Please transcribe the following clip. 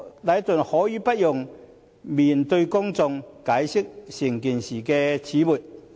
禮頓可以不用面對公眾，解釋整件事的始末。